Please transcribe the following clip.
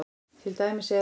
Til dæmis er